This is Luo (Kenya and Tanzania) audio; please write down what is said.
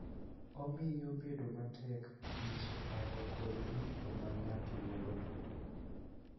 Omiyo bedo matek nyiso paro kod winjo ma ng�ato nigo.